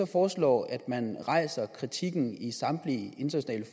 foreslår at man rejser kritikken i samtlige internationale